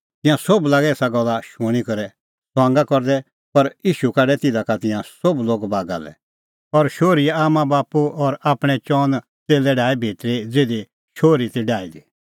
तिंयां सोभ लागै एसा गल्ला शूणीं करै ठठै करदै पर ईशू काढै तिधा का तिंयां सोभ लोग बागा लै और शोहरीए आम्मांबाप्पू और आपणैं चअन च़ेल्लै डाहै भितरी ज़िधी शोहरी ती डाही दी